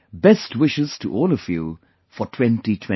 Best wishes to all of you for 2024